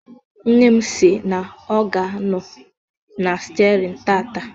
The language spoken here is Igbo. Nne m si na ọ ga-anọ na stiarin tataa.